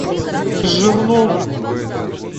жирнову